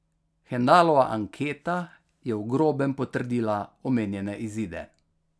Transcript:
Hendalova anketa je v grobem potrdila omenjene izide.